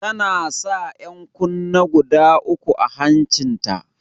Tana sa 'yan kunne guda uku a hancin ta.